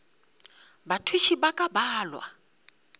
bathuši ba ka ba balwa